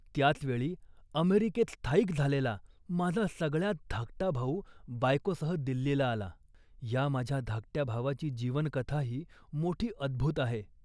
त्याच वेळी अमेरिकेत स्थायिक झालेला माझा सगळ्यांत धाकटा भाऊ बायकोसह दिल्लीला आला. या माझ्या धाकट्या भावाची जीवनकथाही मोठी अद्भूत आहे